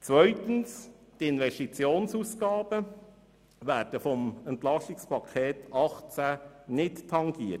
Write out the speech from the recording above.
Zweitens werden die Investitionsausgaben durch das EP 2018 nicht tangiert.